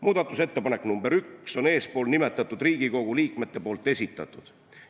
Muudatusettepanek nr 1 on eespool nimetatud Riigikogu liikmete esitatud.